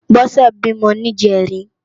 Bose bímò ni ijèrín